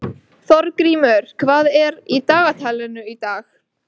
Þorgrímur, hvað er í dagatalinu í dag?